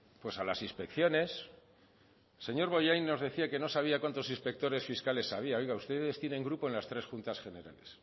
pues a las inspecciones el señor bollain nos decía que no sabía cuántos inspectores fiscales había oiga ustedes tienen grupo en las tres juntas generales